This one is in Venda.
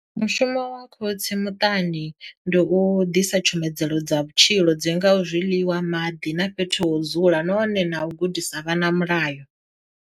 mushumo wa khotsi muṱani ndi u ḓisa tshumelo dza vhutshilo dzi ngaho zwiḽiwa maḓi na fhethu ho dzula nahone na u gudisa vhana Mulayo.